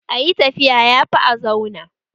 Ayi tafiya yafi a zauna